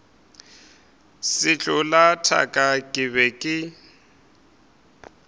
sehlola thaka ke be ke